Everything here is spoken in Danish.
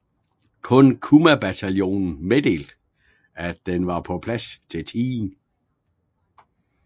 Kun Kumabataljonen meddelte at den var på plads til tiden